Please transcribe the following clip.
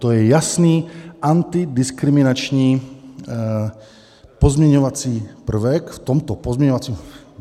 To je jasný antidiskriminační pozměňovací prvek v tomto pozměňovacím...